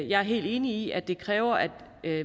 jeg er helt enig i at det kræver at